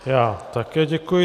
Já také děkuji.